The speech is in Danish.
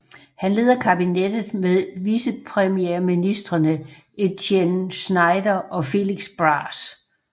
Han leder kabinettet med vicepremierministrene Étienne Schneider og Félix Braz